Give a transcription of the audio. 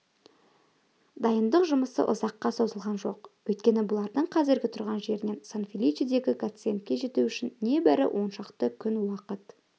дайындық жұмысы ұзаққа созылған жоқ өйткені бұлардың қазіргі тұрған жерінен сан-феличедегі гациендке жету үшін небәрі оншақты күн уақыт